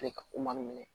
Ale ka ko man gɛlɛn